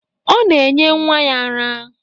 Ọ na-enye nwa ya ara.